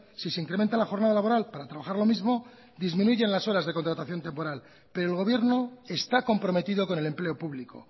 si se incrementa la jornada laboral para trabajar lo mismo disminuye las horas de contratación temporal pero el gobierno está comprometido con el empleo público